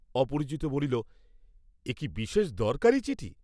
অপরিচিত বলিল, এ কি বিশেষ দরকারী চিঠি?